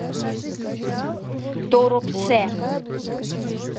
торопце